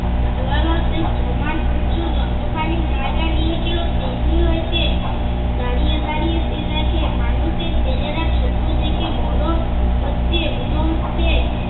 জানালাতেই সমান উচু যতখানি জায়গা নিয়েছিল তেমনি হয়েছে। দাঁড়িয়ে, দাঁড়িয়ে সে দেখে মানুষের ছেলেরা ছোট থেকে বড় হচ্ছে বুড়ো হচ্ছে।